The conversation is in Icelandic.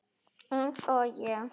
Eins og ég?